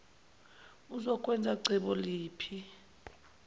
uzokwenza cebo liphi